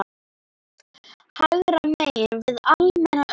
hægra megin við almenna umferð.